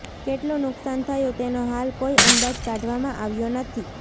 કેટલું નુકશાન થયું તેનો હાલ કોઈ અંદાજ કાઢવામાં આવ્યો નથી